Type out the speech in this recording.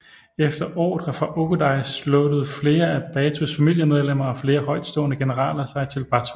Efter ordre fra Ögödei sluttede flere af Batus familiemedlemmer og flere højtstående generaler sig til Batu